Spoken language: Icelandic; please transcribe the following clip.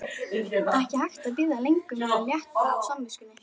Ekki hægt að bíða lengur með að létta á samviskunni!